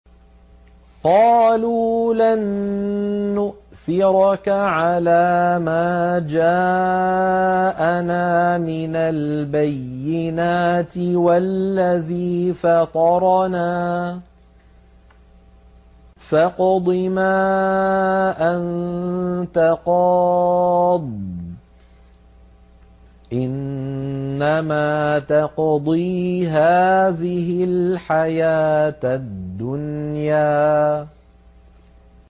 قَالُوا لَن نُّؤْثِرَكَ عَلَىٰ مَا جَاءَنَا مِنَ الْبَيِّنَاتِ وَالَّذِي فَطَرَنَا ۖ فَاقْضِ مَا أَنتَ قَاضٍ ۖ إِنَّمَا تَقْضِي هَٰذِهِ الْحَيَاةَ الدُّنْيَا